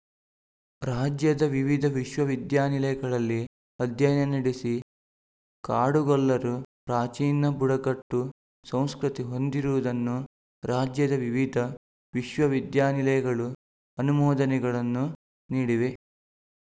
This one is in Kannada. ರಾಜ್ಯದ ವಿವಿಧ ವಿಶ್ವವಿದ್ಯಾನಿಲಯಗಳಲ್ಲಿ ಅಧ್ಯಯನ ನಡೆಸಿ ಕಾಡುಗೊಲ್ಲರು ಪ್ರಾಚೀನ ಬುಡಕಟ್ಟು ಸಂಸ್ಕೃತಿ ಹೊಂದಿರುವುದನ್ನು ರಾಜ್ಯದ ವಿವಿಧ ವಿಶ್ವವಿದ್ಯಾನಿಲಯಗಳು ಅನುಮೋದನೆಗಳನ್ನು ನೀಡಿವೆ